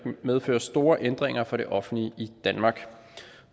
medføre store ændringer for det offentlige i danmark